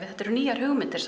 þetta eru nýjar hugmyndir